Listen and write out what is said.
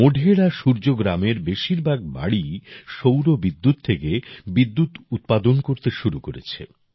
মোঢেরা সূর্য গ্রামের বেশিরভাগ বাড়ি সৌরবিদ্যুৎ থেকে বিদ্যুৎ উৎপাদন করতে শুরু করেছে